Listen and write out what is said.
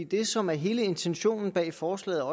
det som er hele intentionen bag forslaget og